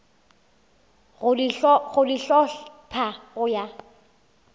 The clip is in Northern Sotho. go di hlopha go ya